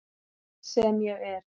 Sem ég er.